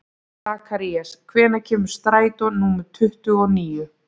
Sakarías, hvenær kemur strætó númer tuttugu og níu?